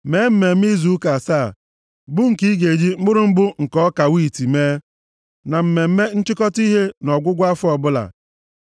“Mee Mmemme Izu Ụka asaa, bụ nke ị ga-eji mkpụrụ mbụ nke ọka wiiti mee, na Mmemme Nchịkọta Ihe nʼọgwụgwụ afọ ọbụla.